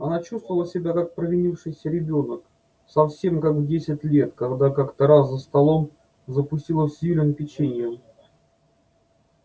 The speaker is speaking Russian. она чувствовала себя как провинившийся ребёнок совсем как в десять лет когда как-то раз за столом запустила в сьюлин печеньем